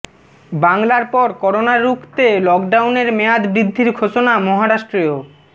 বাংলার পর করোনা রুখতে লকডাউনের মেয়াদ বৃদ্ধির ঘোষণা মহারাষ্ট্রেও